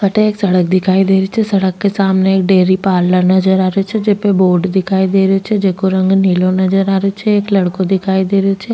अठे एक सड़क दिखाई देरी छे सड़क के सामने एक डेरी पार्लर नज़र आ रेहो छे जेपे एक बोर्ड दिखाई दे रो छे जेको रंग नीलो नजर आ रेहो छे एक लड़को दिखाई दे रो छे।